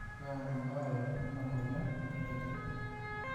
kaa ebaare ena moyian orng'ejep?